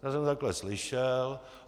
Já to takhle slyšel.